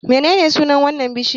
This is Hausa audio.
Menene sunan wannan bishiyar?